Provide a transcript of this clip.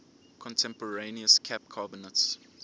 contemporaneous cap carbonates